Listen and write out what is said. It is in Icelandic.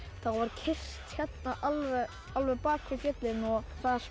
keyrt hérna alveg alveg bak við fjöllin og